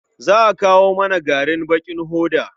Za a kawo mana garin bakin hoda.